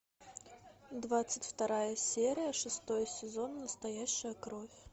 двадцать вторая серия шестой сезон настоящая кровь